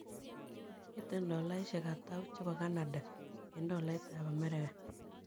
Miten tolaiisiek atau chebo kanada eng tolaiit ap america